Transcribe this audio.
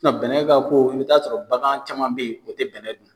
Bɛnɛ ka ko i bɛ t'a sɔrɔ bagan caman bɛ yen o tɛ bɛnɛ dun